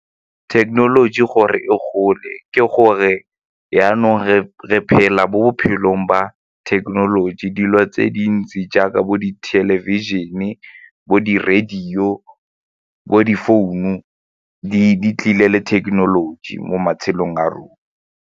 Thekenoloji gore e gole ke gore jaanong re phela mo bophelong ba thekenoloji dilo tse dintsi jaaka bo di-television-e, bo di-radio, bo di-founu, di tlile le thekenoloji mo matshelong a rona.